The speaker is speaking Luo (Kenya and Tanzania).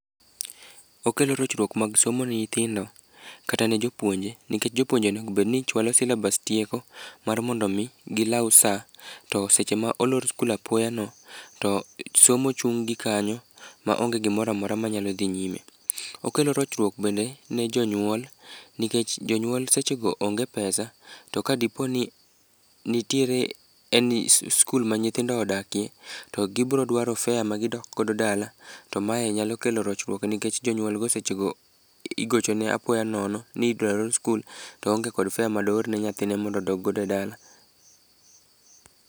Okelo rochruok mag somo ne nyithindo kata ne jopuonje nikech jopuonje onego obed ni chualo syllabus tieko, mar mondo omi gilaw sa, to seche ma olor skul apoya no, to somo chung' gi kanyo, ma onge gimoro amora ma nyalo dhi nyime. Okelo rochruok bende ne jonyuol, nikech jonyuol seche go onge pesa to ka dipo ni, nitiere any skul ma nyithindo odakie, to gibro dwaro fare magidok godo dala, to mae nyalo kelo rochruok nikech jonyuolgo seche go igochone apoya nono nidwa lor skul to oonge kod fare madoor ne nyathine mondo odog godo e dala.